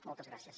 moltes gràcies